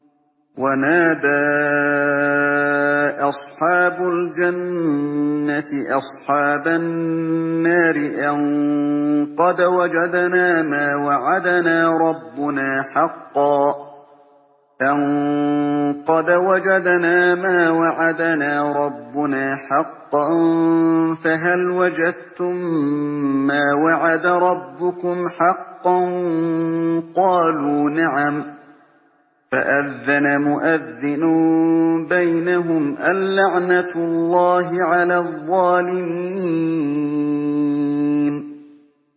وَنَادَىٰ أَصْحَابُ الْجَنَّةِ أَصْحَابَ النَّارِ أَن قَدْ وَجَدْنَا مَا وَعَدَنَا رَبُّنَا حَقًّا فَهَلْ وَجَدتُّم مَّا وَعَدَ رَبُّكُمْ حَقًّا ۖ قَالُوا نَعَمْ ۚ فَأَذَّنَ مُؤَذِّنٌ بَيْنَهُمْ أَن لَّعْنَةُ اللَّهِ عَلَى الظَّالِمِينَ